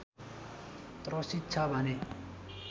त्रसित छ भने